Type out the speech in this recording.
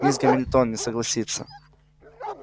мисс гамильтон не согласится